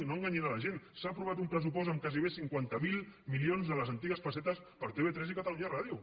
no enganyin la gent s’ha aprovat un pressupost amb gairebé cinquanta miler milions de les antigues pessetes per a tv3 i catalunya ràdio